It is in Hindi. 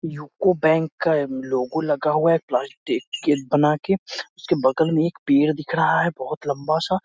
यूको बैंक का लॉगो लगा हुआ है बना के उसके बगल में एक पेड़ दिख रहा है बहोत लंबा-सा।